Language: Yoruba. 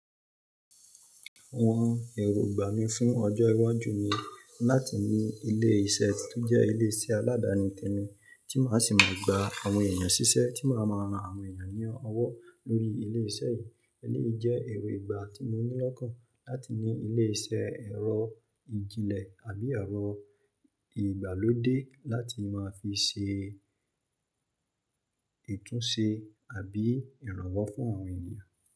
Àwọn èrògbà mí fún ọjọ́ iwájú ni láti ní ilé iṣẹ́ tó jẹ́ ilé iṣẹ́ aládani tẹmi tí màá sì máa gbà àwọn èèyàn ṣiṣẹ́ tí màá máa ran àwọn èèyàn ní ọwọ́ lórí ilé iṣẹ́ yìí. Èléyìí jẹ́ èrò ìgbà tí mo ní lọ́kàn láti ní ilé iṣẹ́ ẹ̀rọ ìjìnlẹ̀ àbí ẹ̀rọ ìgbàlódé láti máa fi ṣe itúnṣe àbí ìrànwọ́ fún àwọn èèyàn.